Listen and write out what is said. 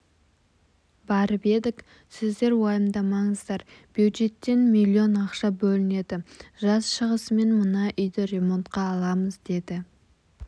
барып едік сіздер уайымдамаңыздар бюджеттен миллион ақша бөлінеді жаз шығысымен мына үйді ремонтқа аламыз деді